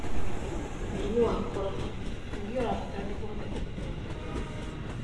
Mũrimũ wa Korona: Irio iria ũrabatara nĩguo ũhote kũgĩtera mwere waku